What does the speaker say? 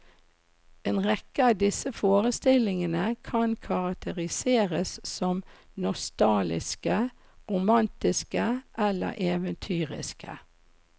En rekke av disse forestillingene kan karakteriseres som nostalgiske, romantiske eller eventyriske.